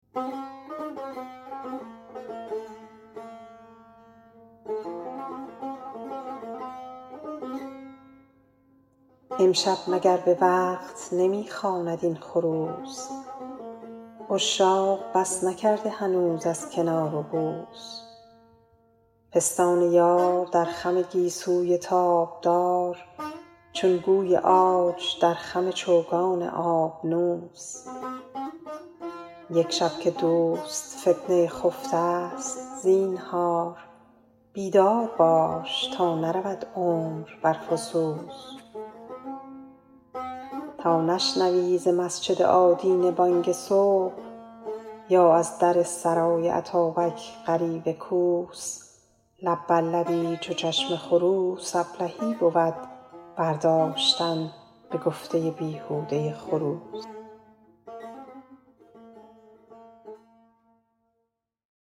امشب مگر به وقت نمی خواند این خروس عشاق بس نکرده هنوز از کنار و بوس پستان یار در خم گیسوی تابدار چون گوی عاج در خم چوگان آبنوس یک شب که دوست فتنه خفته ست زینهار بیدار باش تا نرود عمر بر فسوس تا نشنوی ز مسجد آدینه بانگ صبح یا از در سرای اتابک غریو کوس لب بر لبی چو چشم خروس ابلهی بود برداشتن به گفته بیهوده خروس